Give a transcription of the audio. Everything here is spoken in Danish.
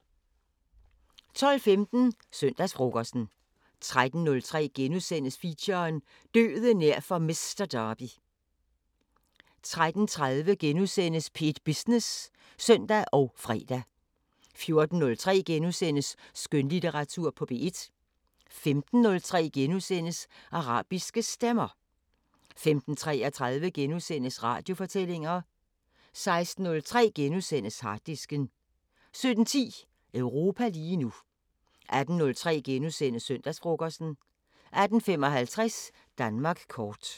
12:15: Søndagsfrokosten 13:03: Feature: Døden nær for Mister Derby * 13:30: P1 Business *(søn og fre) 14:03: Skønlitteratur på P1 * 15:03: Arabiske Stemmer * 15:33: Radiofortællinger * 16:03: Harddisken * 17:10: Europa lige nu 18:03: Søndagsfrokosten * 18:55: Danmark kort